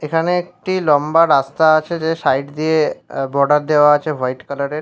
এখানে একটি লম্বা রাস্তা আছে যে সাইড দিয়ে এ বর্ডার দেওয়া আছে হোয়াইট কালার -এর ।